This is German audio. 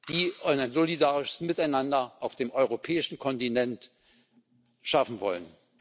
die ein solidarisches Miteinander auf dem europäischen Kontinent schaffen wollen?